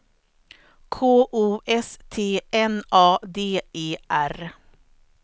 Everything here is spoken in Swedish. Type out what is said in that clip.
K O S T N A D E R